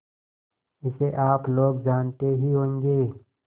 इसे आप लोग जानते ही होंगे